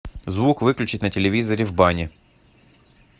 звук выключить на телевизоре в бане